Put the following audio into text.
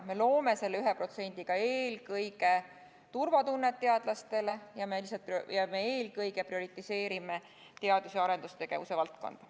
Me loome selle 1%-ga eelkõige turvatunnet teadlastele ning prioriseerime teadus- ja arendustegevuse valdkonda.